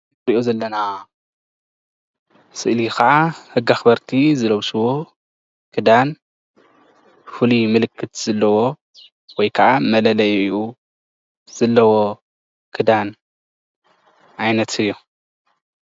እንሪኦ ዘለና ስእሊ ከዓ ሕጊ ኣክበርቲ ዝለብስዎ ክዳን ፍሉይ ምልልክት ዘለዎ ወይ ከዓ መለለይኡ ዘለዎ ክዳን ዓይነት እዩ፡፡